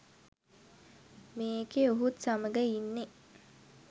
මේකෙ ඔහුත් සමඟ ඉන්නෙ